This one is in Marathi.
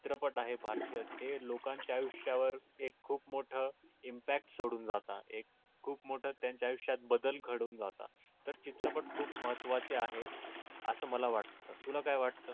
चित्रपट आहे भारतीय ते लोकांच्या आयुष्यावर एक खूप मोठा impact सोडून जाता है खूप मोठे त्यांच्या आयुष्यात बदल घडून जातात पण चित्रपट खूप महत्त्वाचे आहे असं मला वाटते तुला वाटतं